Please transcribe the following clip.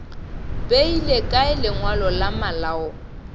beile kae lengwalo la malao